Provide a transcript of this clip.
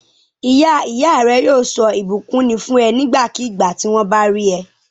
Ìyá ìyá rẹ yóò sọ ìbùkún ni fún ẹ nígbàkigbà tí wọ́n bá rí ẹ.